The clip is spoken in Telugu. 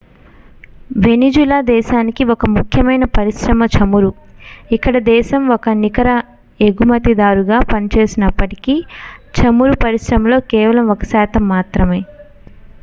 వెనిజులా దేశానికి ఒక ముఖ్యమైన పరిశ్రమ చమురు ఇక్కడ దేశం ఒక నికర ఎగుమతిదారుగా పనిచేసినప్పటికీ చమురు పరిశ్రమలో కేవలం ఒక శాతం మాత్రమే